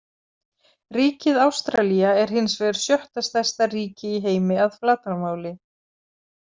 Ríkið Ástralía er hins vegar sjötta stærsta ríki í heimi að flatarmáli.